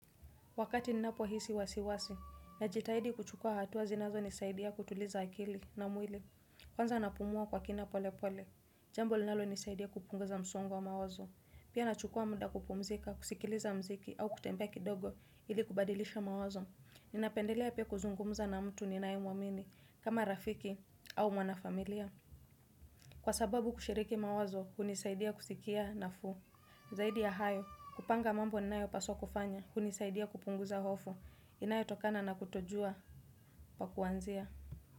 Wakati ninapohisi wasiwasi, najitahidi kuchukua hatua zinazonisaidia kutuliza akili na mwili. Kwanza napumua kwa kina polepole. Jambo linalonisaidia kupunguza msongo wa mawazo. Pia nachukua muda kupumzika, kusikiliza muziki au kutembea kidogo ili kubadilisha mawazo. Ninapendelea pia kuzungumza na mtu ninayemwamini, kama rafiki au mwanafamilia. Kwa sababu kushiriki mawazo hunisaidia kusikia nafuu. Zaidi ya hayo, kupanga mambo ninayopaswa kufanya hunisaidia kupunguza hofu inayotokana na kutojua pa kuanzia.